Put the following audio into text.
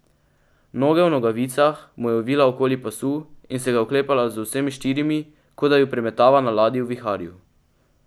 Noge v nogavicah mu je ovila okoli pasu in se ga oklepala z vsemi štirimi, kot da ju premetava na ladji v viharju.